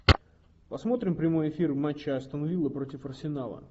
посмотрим прямой эфир матча астон вилла против арсенала